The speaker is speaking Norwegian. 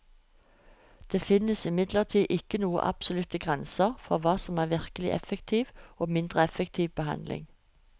Det finnes imidlertid ikke noen absolutte grenser for hva som er virkelig effektiv og mindre effektiv behandling.